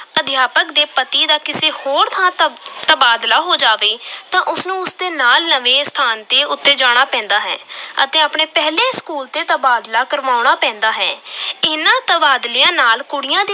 ਅਧਿਆਪਕ ਦੇ ਪਤੀ ਦਾ ਕਿਸੇ ਹੋਰ ਥਾਂ ਤਬ ਤਬਾਦਲਾ ਹੋ ਜਾਵੇ ਤਾਂ ਉਸ ਨੂੰ ਉਸ ਦੇ ਨਾਲ ਨਵੇਂ ਅਸਥਾਨ ਤੇ ਉੱਤੇ ਜਾਣਾ ਪੈਂਦਾ ਹੈ ਅਤੇ ਆਪਣੇ ਪਹਿਲੇ school ਤੇ ਤਬਾਦਲਾ ਕਰਾਉਣਾ ਪੈਂਦਾ ਹੈ ਇਨ੍ਹਾਂ ਤਬਾਦਲਿਆਂ ਨਾਲ ਕੁੜੀਆਂ ਦੀ